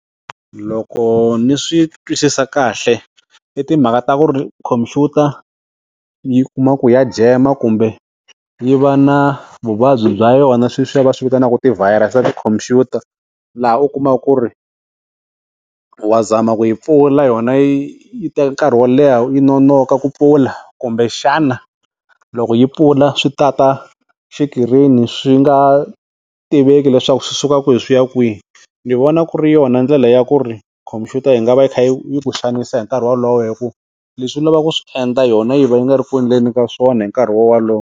Loko ni swi twisisa kahle i timhaka ta ku ri khompyuta yi kuma ku ya jema kumbe yi va na vuvabyi bya yona sweswiya va swi vitanaka ti-virus ta tikhompyuta laha u kumaka ku ri wa zama ku yi pfula yona yi yi teka nkarhi wo leha yi nonoka ku pfula kumbe xana loko yi pfula swi ta ta xikirini swi nga tiveki leswaku swi suka kwihi swi ya kwihi, ni vona ku ri yona ndlela ya ku ri khompyuta yi nga va yi kha yi ku xanisa hi nkarhi walowo hi ku leswi u lavaka ku swi endla yona yi va yi nga ri ku endleni ka swona hi nkarhi walowo.